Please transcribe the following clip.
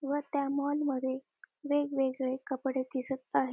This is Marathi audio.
व त्या मॉल मध्ये वेगवेगळे कपडे दिसत आहे.